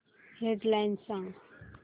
head lines सांग